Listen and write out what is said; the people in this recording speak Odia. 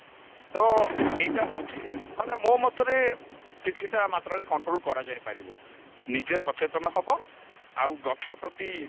ତ ଏଇଟା ହଉଛି ମାନେ ମୋ ମତରେ କିଛିଟା ମାତ୍ରାରେ control କରାଯାଇପାରିବ ନିଜେ ସଚେତନ ହବ ଆଉ ଗଛ ପ୍ରତି